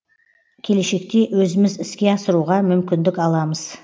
келешекте өзіміз іске асыруға мүмкіндік аламыз